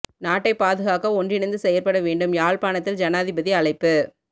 நாட்டை பாதுகாக்க ஒன்றிணைந்து செயற்பட வேண்டும் யாழ்ப்பாணத்தில் ஜனாதிபதி அழைப்பு